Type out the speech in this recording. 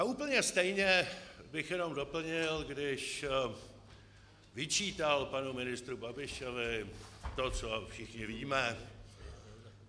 A úplně stejně bych jenom doplnil, když vyčítal panu ministru Babišovi to, co všichni víme.